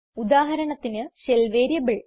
ഉദാഹരണത്തിന് shell variable